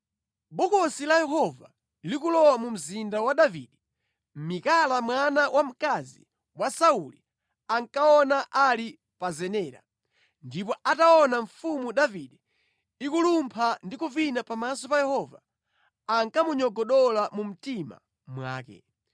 Bokosi la Yehova likulowa mu Mzinda wa Davide, Mikala mwana wamkazi wa Sauli ankaona ali pa zenera. Ndipo ataona Mfumu Davide ikulumpha ndi kuvina pamaso pa Yehova, ankamunyogodola mu mtima mwake.